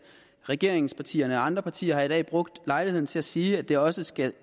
regeringspartierne og andre partier har i dag brugt lejligheden til at sige at det også skal